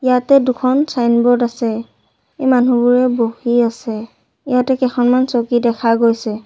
ইয়াতে দুখন ছাইনবোৰ্ড আছে এ মানুহবোৰে বহি আছে ইয়াতে কেখনমান চকী দেখা গৈছে।